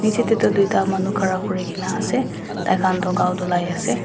niche teh tu dwita manu khara kurigena ase taikhan tu ghau dulai ase.